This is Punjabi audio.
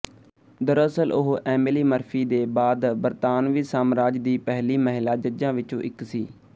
ਦਰਅਸਲ ਉਹ ਐਮਿਲੀ ਮਰਫੀ ਦੇ ਬਾਅਦ ਬਰਤਾਨਵੀ ਸਾਮਰਾਜ ਦੀ ਪਹਿਲੀ ਮਹਿਲਾ ਜੱਜਾਂ ਵਿੱਚੋਂ ਇੱਕ ਸੀ